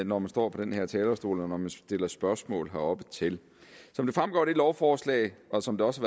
når man står på den her talerstol og når man stiller spørgsmål herop til som det fremgår af det lovforslag og som det også